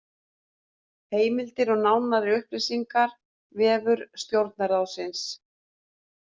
Heimildir og nánari upplýsingar: Vefur Stjórnarráðsins